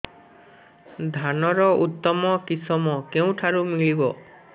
ଧାନର ଉତ୍ତମ କିଶମ କେଉଁଠାରୁ ମିଳିବ